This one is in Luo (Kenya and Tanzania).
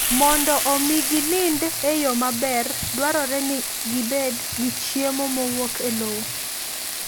Mondo omi ginind e yo maber, dwarore ni gibed gi chiemo mowuok e lowo.